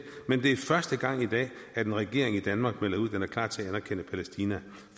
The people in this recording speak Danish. men det er første gang i dag at en regering i danmark melder ud at den er klar til at anerkende palæstina